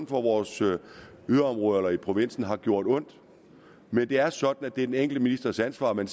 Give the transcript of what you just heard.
fra vores yderområder eller i provinsen har gjort ondt men det er sådan at det er den enkelte ministers ansvar men